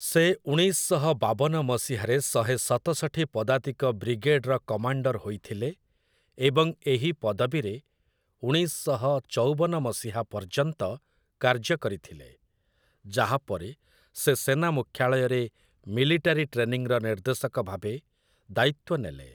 ସେ ଉଣେଇଶ ଶହ ବାବନ ମସିହାରେ ଶହେ ସତଷଠି ପଦାତିକ ବ୍ରିଗେଡ୍‌ର କମାଣ୍ଡର ହୋଇଥିଲେ ଏବଂ ଏହି ପଦବୀରେ ଉଣେଇଶ ଶହ ଚଉବନ ମସିହା ପର୍ଯ୍ୟନ୍ତ କାର୍ଯ୍ୟ କରିଥିଲେ, ଯାହାପରେ ସେ ସେନା ମୁଖ୍ୟାଳୟରେ ମିଲିଟାରୀ ଟ୍ରେନିଂର ନିର୍ଦ୍ଦେଶକ ଭାବେ ଦାୟିତ୍ୱ ନେଲେ ।